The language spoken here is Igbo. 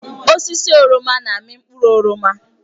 Osisi oroma na-amị mkpụrụ oroma.